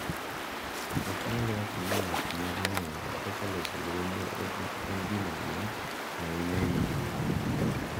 Ok nyal wacho ni ng’ato nyalo ng’eyo kaka loso lweny en gima duong’ ahinya e winjruok e kind joot.